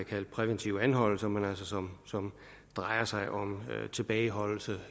kaldt præventive anholdelser men som altså drejer sig om tilbageholdelse